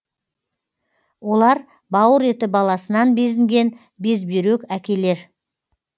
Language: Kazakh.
олар бауыр еті баласынан безінген безбүйрек әкелер